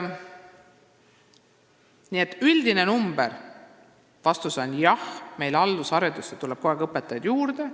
Nii et vastus on, et meil tuleb alusharidusse õpetajaid kogu aeg juurde.